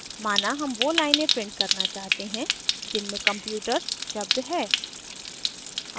माना हम वो लाइनें print करना चाहते हैं जिनमे computers शब्द है